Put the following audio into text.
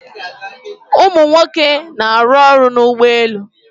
Umunwoke na-aru oru n'ugboelu